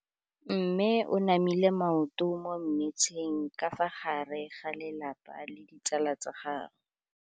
Mme o namile maoto mo mmetseng ka fa gare ga lelapa le ditsala tsa gagwe.